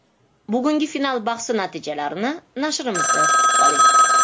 Bugungi final bahsi natijalarini nashrimizda kutib qoling.